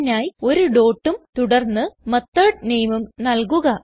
അതിനായി ഒരു dotഉം തുടർന്ന് മെത്തോട് nameഉം നൽകുക